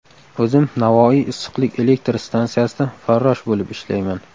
O‘zim Navoiy issiqlik elektr stansiyasida farrosh bo‘lib ishlayman.